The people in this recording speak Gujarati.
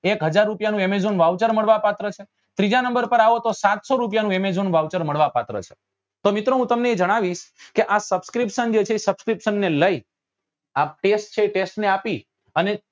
એક હઝાર રૂપિયા નું amazon voucher મળવા પાત્ર છે ત્રીજા નંબર પર આવો તો સાસતો રૂપિયા નું amazon voucher મળવા પાત્ર છે તો મિત્રો હું તમને જણાવીસ કે આ subscription જે છે એ subscription ને લઇ આ test છે એ test ની આપી